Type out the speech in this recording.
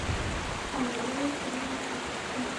андрей свинцицкий